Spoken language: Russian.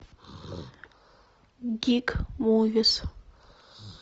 гик мувис